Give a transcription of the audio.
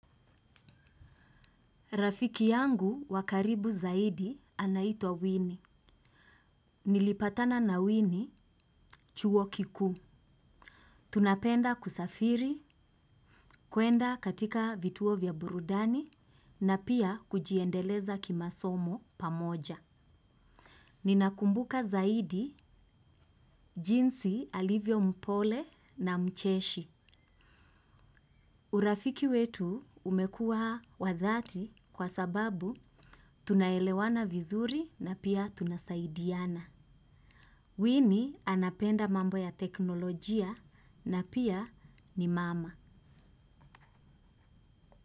Rafiki yangu wa karibu zaidi anaitwa Winnie. Nilipatana na Winnie chuo kikuu. Tunapenda kusafiri, kwenda katika vituo vya burudani na pia kujiendeleza kimasomo pamoja. Ninakumbuka zaidi, jinsi alivyo mpole na mcheshi. Urafiki wetu umekuwa wa dhati kwa sababu tunaelewana vizuri na pia tunasaidiana. Winnie anapenda mambo ya teknolojia na pia ni mama.